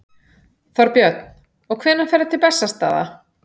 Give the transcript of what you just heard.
Þorbjörn: Og hvenær ferðu til Bessastaða?